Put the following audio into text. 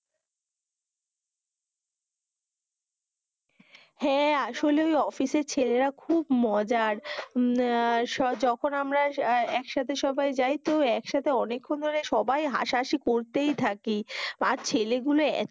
হেঁ, আসলে ওই অফিসের ছেলে রা খুব মজার যখন আমরা একসাথে সবাই যাই তো একসাথে অনেক ক্ষণ ধরে হাসা হাসি করতেই থাকি আর ছেলে গুলো,